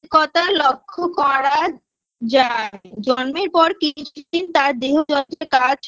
কথা লক্ষ্য করা যায় জন্মের পর ত্রিশ দিন তার দেহ কর্মের কাজ